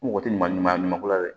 N mago tɛ maa ɲuman ɲuman ko la dɛ